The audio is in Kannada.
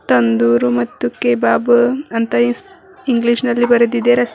ತಂದೂರು ಮತ್ತು ಕೇಬಾಬು ಅಂತ ಇಸ್- ಇಂಗ್ಲಿಷ್ ನಲ್ಲಿ ಬರೆದಿದೆ ರಸ್ತೆ ಮೆ--